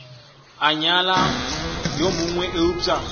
a nyala yo mongwe eupša